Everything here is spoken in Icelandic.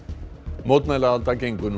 mótmælaalda gengur nú